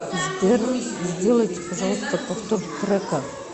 сбер сделайте пожалуйста повтор трека